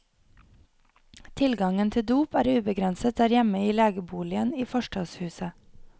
Tilgangen til dop er ubegrenset der hjemme i legeboligen i forstadshuset.